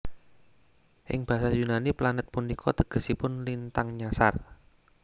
Ing basa Yunani planet punika tegesipun lintang nyasar